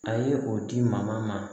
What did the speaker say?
A ye o di maa ma